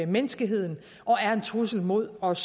menneskeheden og er en trussel mod os